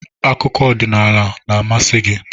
Akụkọ ọdịnala na-amasị gị?